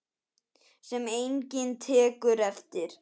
Sem enginn tekur eftir.